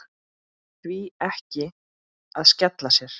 Því ekki að skella sér?